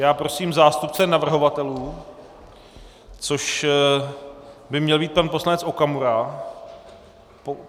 Já prosím zástupce navrhovatelů, což by měl být pan poslanec Okamura.